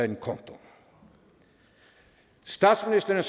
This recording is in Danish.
den konto statsministeren